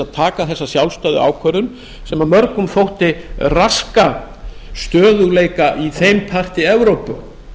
að taka þessa sjálfstæðu ákvörðun sem mörgum þótti raska stöðugleika í þeim parti evrópu